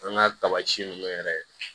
An ka ninnu yɛrɛ ye